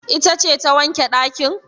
Ita ce ta wanke ɗakin?